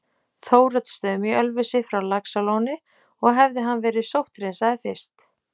Þóroddsstöðum í Ölfusi frá Laxalóni og hefði hann verið sótthreinsaður fyrst.